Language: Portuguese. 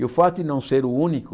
E o fato de não ser o único,